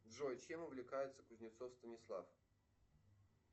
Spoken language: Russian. джой чем увлекается кузнецов станислав